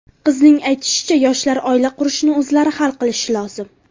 Qizning aytishicha, yoshlar oila qurishni o‘zlari hal qilishi lozim.